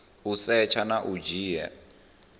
u setsha na u dzhia